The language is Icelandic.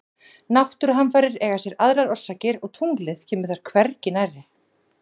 Náttúruhamfarir eiga sér aðrar orsakir og tunglið kemur þar hvergi nærri.